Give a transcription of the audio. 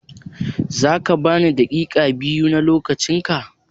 Za ka ban daƙiƙa biyu na lokacin ka?